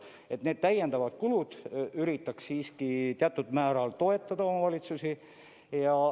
Nii et nende täiendavate kulude puhul üritaks siiski teatud määral toetada omavalitsusi.